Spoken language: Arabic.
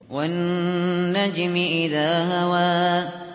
وَالنَّجْمِ إِذَا هَوَىٰ